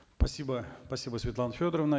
спасибо спасибо светлана федоровна